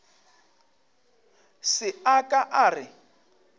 se a ka a re